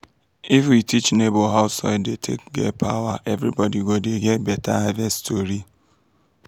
if we teach neighbor how soil dey take get power everybody go dey get better harvest tori.